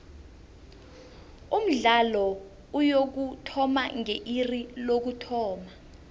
umdlalo uyokuthoma nge iri lokuthoma